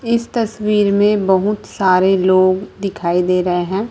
इस तस्वीर में बहुत सारे लोग दिखाई दे रहे हैं।